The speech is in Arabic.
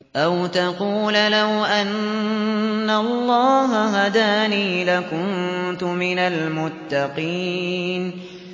أَوْ تَقُولَ لَوْ أَنَّ اللَّهَ هَدَانِي لَكُنتُ مِنَ الْمُتَّقِينَ